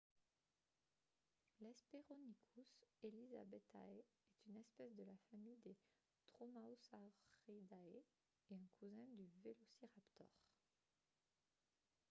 l'hesperonychus elizabethae est une espèce de la famille des dromaeosauridae et un cousin du velociraptor